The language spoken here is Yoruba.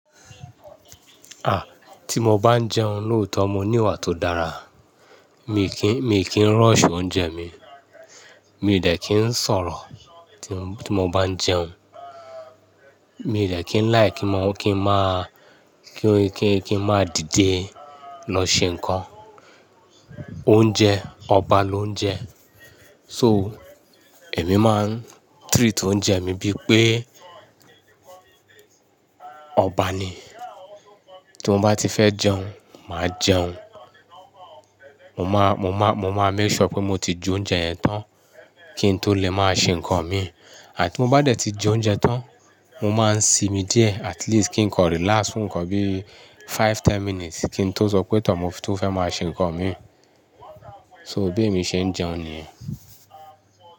Ah, tí mo bá ń jẹun lóòótọ́ mo ní ìwà tó dára. Mi kí ń, mi kí ń rọ̀ṣù oúnjẹ mi, mi dẹ̀ kí ń sọ̀rọ̀ tí mo, tí mo bá ń jẹun. Mi dẹ̀ kí ń láì kí mọ, kí n máà, kí, kí, kí n máà dìde lọ ṣe nǹkan. Oúnjẹ, ọba ló ń jẹ. So, èmi máa ń treat oúnjẹ mi bí pé ọba ni. Tí mo bá ti fẹ́ jẹun, màá jẹun. Mo má, mo má, mo máa make sure pé mo ti jẹ oúnjẹ yẹn tán kí n tó lè máa ṣe nǹkan mi. Àti mo bá dẹ̀ ti jẹ oúnjẹ tán, mo máa ń sinmi díẹ̀ at least kí n lè relax fún nǹkan bíi five, ten minutes kí n tó sọ pé tọ̀, mo tó fẹ́ máa ṣe nǹkan mi. So béè mi ṣe ń jẹun nìyẹn.